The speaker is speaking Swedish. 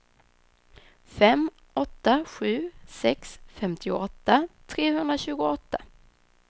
fem åtta sju sex femtioåtta trehundratjugoåtta